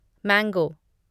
mango